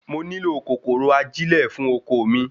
mo nílò kòkòrò ajilẹ fún oko mi